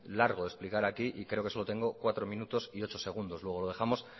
largo de explicar y creo que solo tengo cuatro minutos y ocho segundos luego dejamos